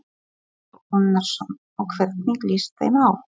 Kristján Már Unnarsson: Og hvernig líst þeim á?